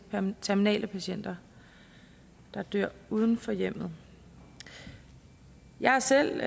terminale patienter der dør uden for hjemmet jeg har selv